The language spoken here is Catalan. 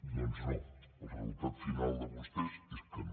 doncs no el resultat final de vostès és que no